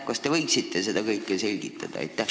Kas te võiksite seda selgitada?